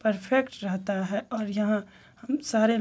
perfect रहता है और यहाँ हम सारे --